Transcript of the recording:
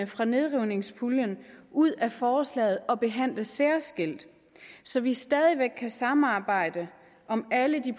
fra nedrivningspuljen ud af forslaget og behandle særskilt så vi stadig væk kan samarbejde om alle de